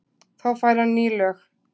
Þá fær hann ný lög.